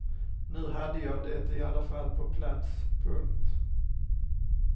Nu hade jag det i alla fall på plats. punkt